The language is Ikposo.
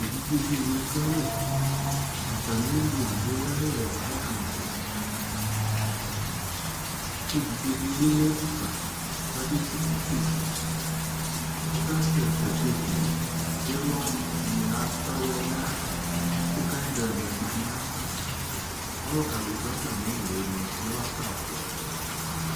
E vidze de ne ekualɛ, Atame li edigbo yayɛ ayama yi ke evidze de ye yadu fa ka be tsuku keke Ado atsɛkɛ kekie Ilɔ ne ata yia na yava ko kɛndel ma na yava Ɔluka de do atame le no ila sabuu